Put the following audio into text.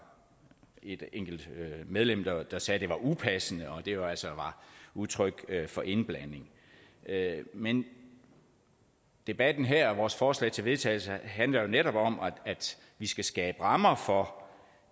et enkelt medlem der sagde at det var upassende og at det jo altså var udtryk for indblanding men debatten her og vores forslag til vedtagelse handler jo netop om at vi skal skabe rammer for